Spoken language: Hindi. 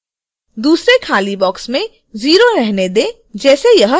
दूसरे खाली बॉक्स में 0 रहने दें जैसे यह है